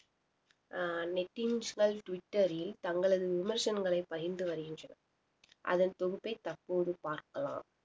அஹ் நெட்டிசன்கள் டுவிட்டர்ரில் தங்களது விமர்சனங்களை பகிர்ந்து வருகின்றனர் அதன் தொகுப்பை தற்போது பார்க்கலாம்